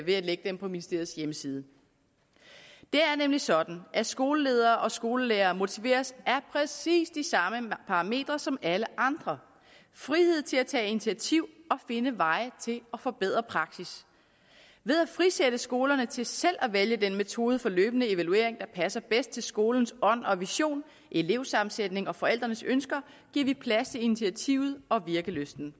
ved at lægge dem på ministeriets hjemmeside det er nemlig sådan at skoleledere og skolelærere motiveres af præcis de samme parametre som alle andre frihed til at tage initiativ og finde veje til at forbedre praksis ved at frisætte skolerne til selv at vælge den metode for løbende evaluering der passer bedst til skolens ånd og vision elevsammensætningen og forældrenes ønsker giver vi plads til initiativet og virkelysten